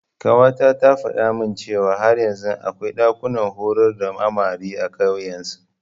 Ƙawata ta faɗa min cewa har yanzu akwai ɗakunan horar da amare a ƙauyen su.